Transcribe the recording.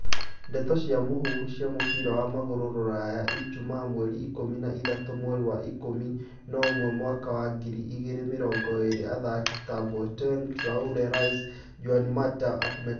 Ndeto cia mũhuhu cia mũbira wa magũrũ Rũraya ijumaa mweri ikũmi na ithatũ mweri wa ikũmi na ũmwe mwaka wa ngiri igĩrĩ mĩrongo ĩrĩ athaki ta Boateng, Traore, Rice, Janmatt, Upamecano